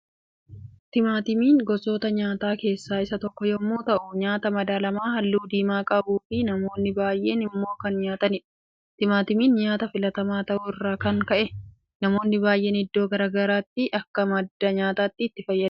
Timaatimiin gosoota nyaataa keessaa isa tokko yemmuu ta'u nyaata madaalamaa halluu diimaa qabuu fi namoonni baay'een immoo kan nyaataniidha. Timaatimiin nyaata filatamaa ta'uu irraa kan ka'e namoonni baay'een iddoo garaa garaatti akka madda nyaataatti itti fayyadama.